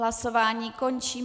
Hlasování končím.